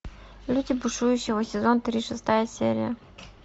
люди будущего сезон три шестая серия